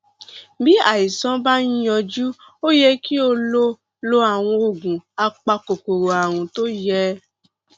bí àìsàn bá ń yọjú ó yẹ kí o lo lo àwọn oògùn apakòkòrò ààrùn tó yẹ